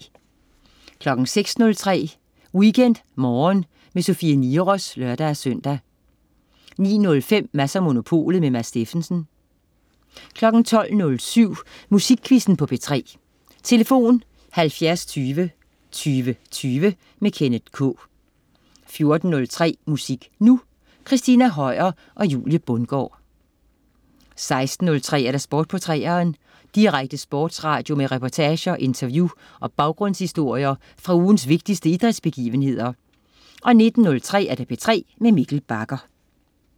06.03 WeekendMorgen med Sofie Niros (lør-søn) 09.05 Mads & Monopolet. Mads Steffensen 12.07 Musikquizzen på P3. Tlf.: 70 20 20 20. Kenneth K 14.03 Musik Nu! Christina Høier og Julie Bundgaard 16.03 Sport på 3'eren. Direkte sportsradio med reportager, interview og baggrundshistorier fra ugens vigtigste idrætsbegivenheder 19.03 P3 med Mikkel Bagger